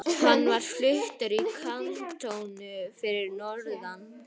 Hann var fluttur í kantónu fyrir norðan.